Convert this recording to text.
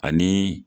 Ani